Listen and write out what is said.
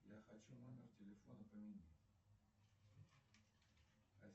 я хочу номер телефона поменять